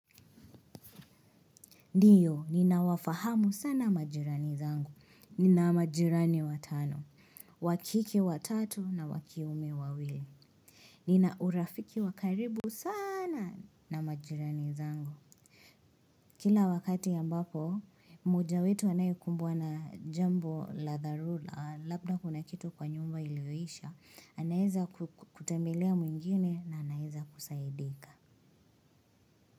Ndiyo, ninawafahamu sana majirani zangu, ninamajirani watano, wakike watatu na wakiume wawili. Nina urafiki wakaribu sana na majirani zangu. Kila wakati ambapo, mmoja wetu anayekumbwa na jambo la dharula, labda kuna kitu kwa nyumba ilioisha, anaweza kutembelea mwingine na anaweza kusaidika.